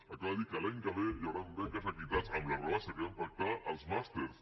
acaba de dir que l’any que ve hi hauran beques equitat amb la rebaixa que vam pactar als màsters